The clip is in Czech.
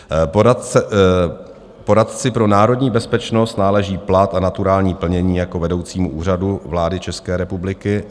Poradci pro národní bezpečnost náleží plat a naturální plnění jako vedoucímu Úřadu vlády České republiky."